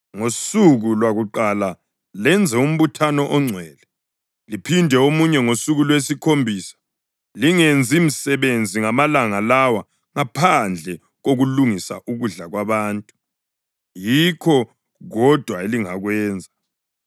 Ngosuku lwakuqala lenze umbuthano ongcwele, liphinde omunye ngosuku lwesikhombisa. Lingenzi msebenzi ngamalanga lawa ngaphandle kokulungisa ukudla kwabantu, yikho kodwa elingakwenza.